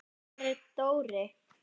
Hvar er Dóri?